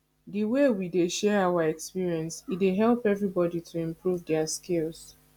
di way we dey share our experience e dey help everybodi to improve their skills